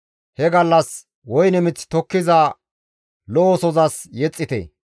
He gallas, «Woyne mith tokkiza lo7osozas yexxite!